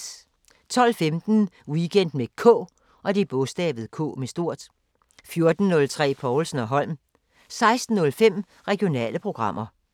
12:15: Weekend med K 14:03: Povlsen & Holm 16:05: Regionale programmer